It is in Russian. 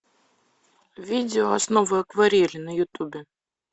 видео основы акварели на ютубе